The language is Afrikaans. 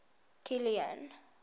kilian